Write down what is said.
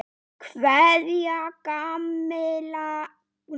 Kveðja, Kamilla Rún.